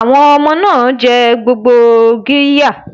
Bẹ́ẹ̀ni, àwọn ọmọ náà jẹ gbogbo qirya.